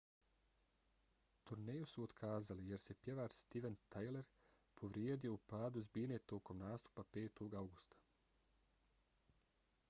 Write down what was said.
turneju su otkazali jer se pjevač steven tyler povrijedio u padu s bine tokom nastupa 5. avgusta